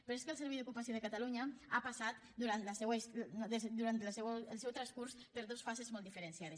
però és que el servei d’ocupació de catalunya ha passat durant el seu transcurs per dos fases molt diferenciades